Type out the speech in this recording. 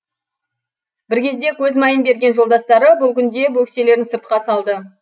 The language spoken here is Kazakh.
бір кезде көз майын берген жолдастары бұл күнде бөкселерін сыртқа салды